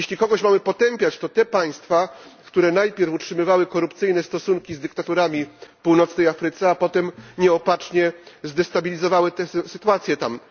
Jeśli kogoś mamy potępiać to te państwa, które najpierw utrzymywały korupcyjne stosunki z dyktaturami w Afryce Północnej, a potem nieopatrznie zdestabilizowały sytuację tam.